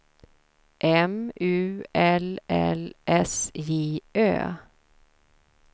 M U L L S J Ö